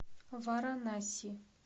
варанаси